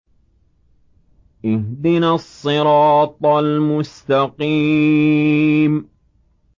اهْدِنَا الصِّرَاطَ الْمُسْتَقِيمَ